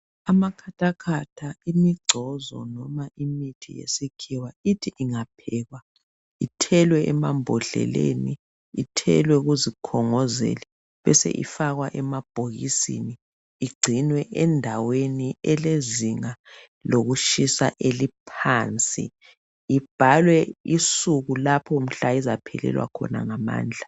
Amakhathakhatha, imigcozo, noma imithi yesikhiwa, ithi ingaphekwa, ithelwe emambodleleni, ithelwe kuzikhongozeli. Bese iifakwa emabhokisini. Igcinwe endaweni elezinga lokushisa eliphansi. Ibhalwe isuku lapha mhla izaphelelwa khona ngamandla.